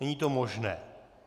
Není to možné.